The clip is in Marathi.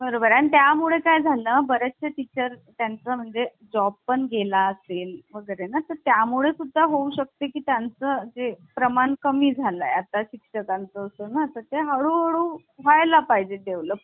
आ अशी शब्द दिली होती आणि यामध्ये विचारल होत कि कोणता येतो तर Obviously न्याय हा शब्द पहिला येतो. तर अशा प्रकारचे प्रश्न हे विचारले जातात. आता यांनतर हे प्रश्न आलेले नाही दोन Points वर पण मी तुम्हाला सांगितलेले आहे कारण